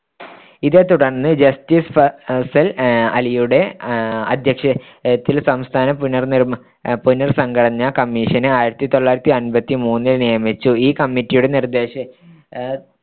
ഇതെ തുടർന്ന് justice ഫസൽ അലിയുടെ അഹ് അദ്ധ്യക്ഷതയിൽ സംസ്ഥാന പുനർനിർമ്മാണ പുനർ‌സംഘടനാ commission നെ ആയിരത്തിത്തൊള്ളായിരത്തിമൂന്നിൽ നിയമിച്ചു ഈ committee യുടെ നിർ‌ദ്ദേശ